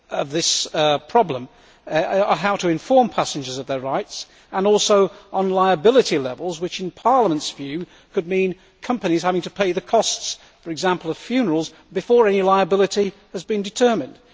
this problem include how to inform passengers of their rights, and also liability levels which, in Parliament's view, could mean companies having to pay the costs, for example, of funerals before any liability has been determined.